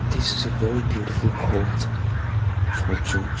this is very beautiful home for church.